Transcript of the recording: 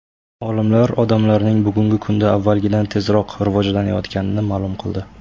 Olimlar odamlarning bugungi kunda avvalgidan tezroq rivojlanayotganini ma’lum qildi.